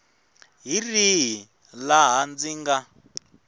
hi rihi laha ndzi nga